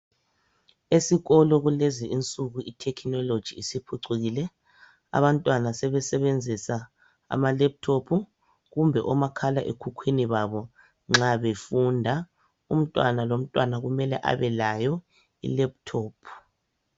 Esikolo kulezi insuku ithekhinoloji isiphucukile abantwana sebesebenzisa amalephuthophu kumbe omakhala ekhukhwini babo nxa befunda. Umntwana lomntwana kumele abe layo ilephuthophu.